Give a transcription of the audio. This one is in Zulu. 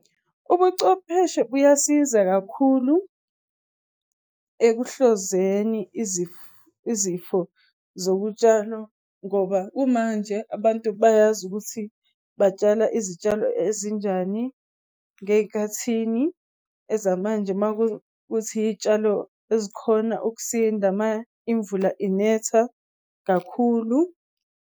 Ubuchwepheshe buyasiza kakhulu ekuhlaziyeni izifo zokutshala ngoba kumanje abantu bayazi ukuthi batshala izitshalo ezinjani ngey'khathini ezamanje makuwukuthi iy'tshalo ezikhona ukusinda uma imvula inetha kakhulu.